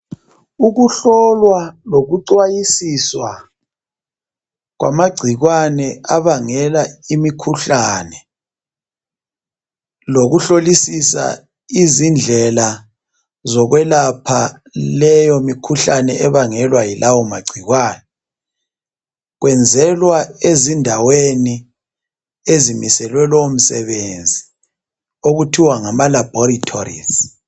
Ukuhlolwa lokuxwayisiswa kwamacikwane abangela imikhuhlane lokuhlolisisa izindlela zokuyelapha leyo mikhuhlane ebangelwa yilawa magcikwane kwenzelwa ezindaweni ezimiselwe leyomisebenzi okuthiwa ngama laboratories